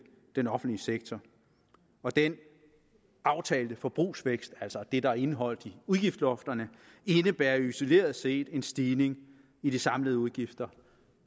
den offentlige sektor og den aftalte forbrugsvækst altså det der er indeholdt i udgiftslofterne indebærer isoleret set en stigning i de samlede udgifter